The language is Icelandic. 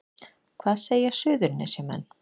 Hvað segja Suðurnesjamenn